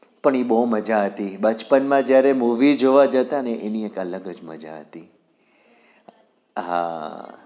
પણ એ બહુ મજા હતી બચપણ જયારે movie જોવા જતા એની એક અલગ જ મજા હતી